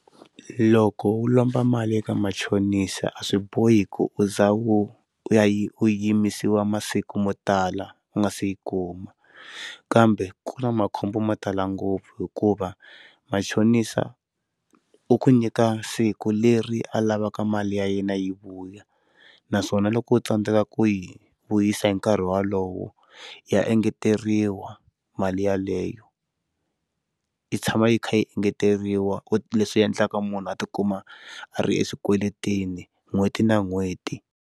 Loko wo lomba mali eka machonisa a swi bohi ku u za wu yimisiwa masiku mo tala u nga se yi kuma kambe ku na makhombo mo tala ngopfu hikuva machonisa u ku nyika siku leri a lavaka mali ya yena yi vuya naswona loko u tsandzeka ku yi vuyisa hi nkarhi wolowo ya engeteriwa mali yaleyo i tshama yi kha yi engeteriwa leswi endlaka munhu a tikuma a ri exikweleteni n'hweti na n'hweti.